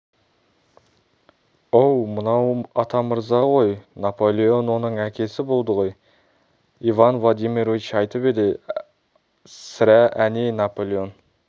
оу мынау атамырза ғой наполеон оның әкесі болды ғой иван владимирович айтып еді-ау сірә әне наполеон